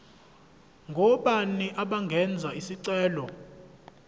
ngobani abangenza isicelo